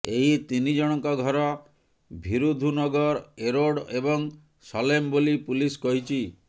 ଏହି ତିନି ଜଣଙ୍କ ଘର ଭୀରୁଧୁନଗର ଏରୋଡ ଏବଂ ସଲେମ ବୋଲି ପୁଲିସ କହିଛି